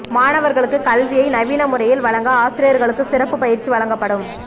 மாணவர்களுக்கு கல்வியை நவீன முறையில் வழங்க ஆசிரியர்களுக்கு சிறப்பு பயிற்சி வழங்கப்படும்